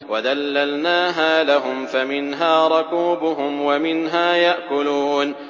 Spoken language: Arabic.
وَذَلَّلْنَاهَا لَهُمْ فَمِنْهَا رَكُوبُهُمْ وَمِنْهَا يَأْكُلُونَ